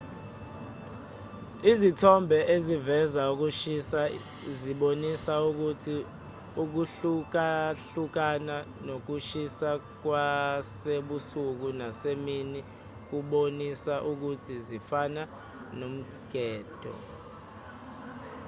izithombe eziveza ukushisa zibonisa ukuthi ukuhlukahlukana kokushisa kwasebusuku nasemini kubonisa ukuthi zifana nomgede